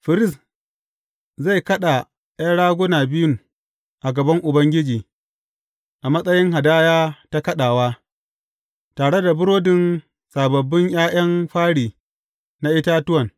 Firist zai kaɗa ’yan raguna biyun a gaban Ubangiji, a matsayin hadaya ta kaɗawa, tare da burodin sababbin ’ya’yan fari na itatuwan.